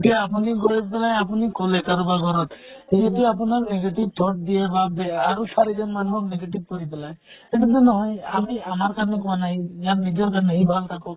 এতিয়া আপুনি গৈ পেলে আপুনি কʼলে কাৰবাৰ ঘৰত। সি যদি আপোনাক negative thought দিয়ে বা বেয়া আৰু চাৰিজন মানুহক negative কৰি পেলাই সেইতোটো নহয়। আমি আমাৰ কাৰণে কোৱা নাই । ইয়াৰ নিজৰ কাৰণে, সি ভাল থাকক।